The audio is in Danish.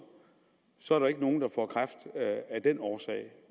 så er der ikke nogen der får kræft af den årsag